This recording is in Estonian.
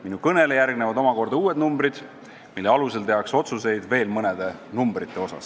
Minu kõnele järgnevad omakorda uued numbrid, mille alusel tehakse otsuseid veel mõnede numbrite kohta.